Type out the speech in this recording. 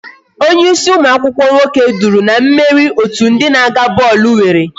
Onye ịsị ụmụ akwụkwọ nwoke duru na mmeri otu ndị na-aga bọọlụ nwere